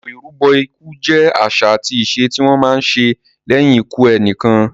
Ètò ìrúbọ ikú jẹ àṣà àti ìṣe tí wọ́n má ń ṣe lẹ́yìn ikú ẹnìkan.